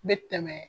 N bɛ tɛmɛ